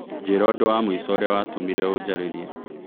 njĩra ũndũ wa mũĩco ũrĩa watũmĩre ũjarĩrĩe